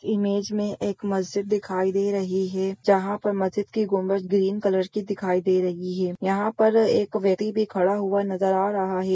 Image मे एक मस्जिद दिखाई दे रही है जहां पर मस्जिद की गुंबज ग्रीन कलर की दिखाई दे रही है यहाँ पर एक व्यक्ति भी खड़ा हुआ नजर आ रहा है।